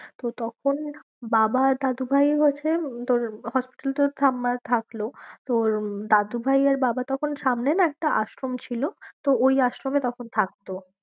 তো তখন বাবা আর দাদুভাই হচ্ছে তোর hospital এ তো ঠাম্মা থাকলো। তোর দাদুভাই আর বাবা তখন সামনে না একটা আশ্রম ছিল তো ওই আশ্রমে তখন থাকতো।